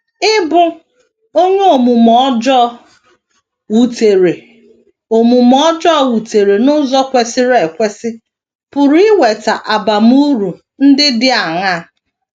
Ịbụ onye omume ọjọọ wutere omume ọjọọ wutere n’ụzọ kwesịrị ekwesị pụrụ iweta abamuru ndị dị aṅaa?